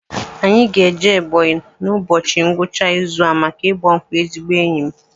Anyị ga-eje Ebọnyi n'ụbọchị ngwụcha izu a maka ịgba nkwụ ezigbo enyi m